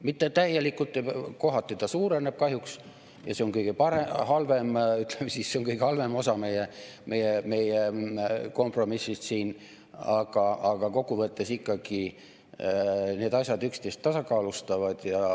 Mitte täielikult, kohati ta suureneb kahjuks ja see on kõige halvem osa meie kompromissist siin, aga kokku võttes ikkagi need asjad üksteist tasakaalustavad.